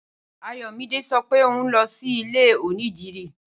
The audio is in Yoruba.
Ayòmídé sopé òhun lọ sílé onídìrí.